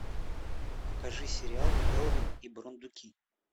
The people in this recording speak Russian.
покажи сериал элвин и бурундуки